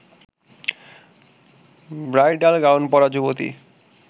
bridal gown পরা যুবতী